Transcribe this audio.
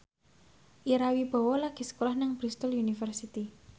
Ira Wibowo lagi sekolah nang Bristol university